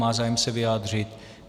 Má zájem se vyjádřit?